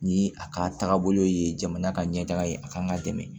Ni a ka taagabolo ye jamana ka ɲɛ taga ye a kan ka dɛmɛ